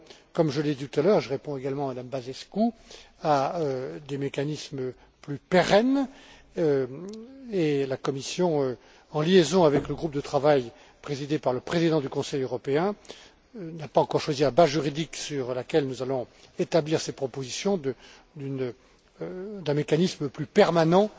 Comme je l'ai dit tout à l'heure je réponds également à Mme Băsescu nous travaillons à des mécanismes plus pérennes, et la Commission, en liaison avec le groupe de travail présidé par le président du Conseil européen, n'a pas encore choisi la base juridique sur laquelle nous allons établir ces propositions relatives à un mécanisme plus permanent